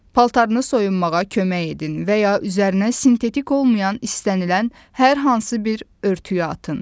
Paltarını soyunmağa kömək edin və ya üzərinə sintetik olmayan istənilən hər hansı bir örtüyü atın.